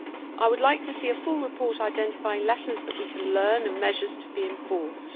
I would like to see a full report identifying lessons that we can learn and measures to be enforced.